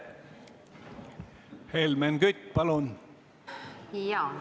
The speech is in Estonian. Helmen Kütt, palun!